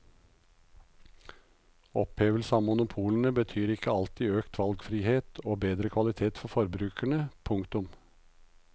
Opphevelse av monopolene betyr ikke alltid økt valgfrihet og bedre kvalitet for forbrukerne. punktum